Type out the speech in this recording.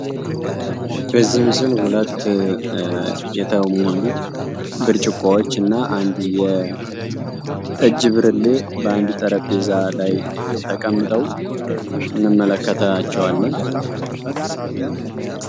በዚህ ምስል ሁለት የተሞሉ ብርጭቆዎች እና አንድ የጠጅ ብርሌ በአንድ ጠረጴዛ ላይ ተቀምጠው እንመለከታቸዋለን።